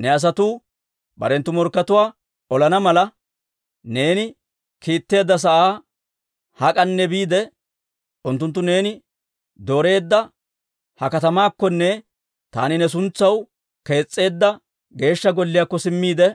«Ne asatuu barenttu morkkatuwaa olana mala, neeni kiitteedda sa'aa hak'anne biide, unttunttu neeni dooreedda ha katamaakkonne taani ne suntsaw kees's'eedda Geeshsha Golliyaakko simmiide,